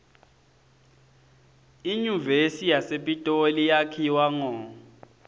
inyuvesi yasepitoli yakhiwa ngo